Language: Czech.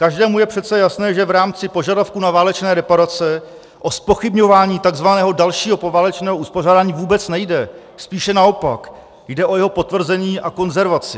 Každému je přece jasné, že v rámci požadavků na válečné reparace o zpochybňování tzv. dalšího poválečného uspořádání vůbec nejde, spíše naopak, jde o jeho potvrzení a konzervaci.